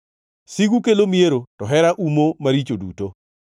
Sigu kelo miero, to hera umo maricho duto.